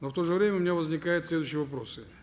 но в то же время у меня возникают следующие вопросы